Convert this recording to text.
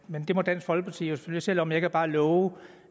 men det må dansk folkeparti jo selv om jeg kan bare love